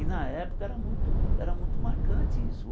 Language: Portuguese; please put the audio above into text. E na época era muito era muito marcante isso.